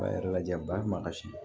B'a yɛrɛ lajɛ ba ma kasi